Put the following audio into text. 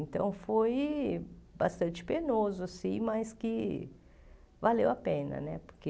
Então, foi bastante penoso, mas que valeu a pena né, porque...